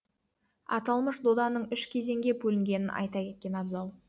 аталмыш доданың үш кезеңге бөлінгенін айта кеткен абзал